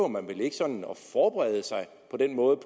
man vel ikke på den måde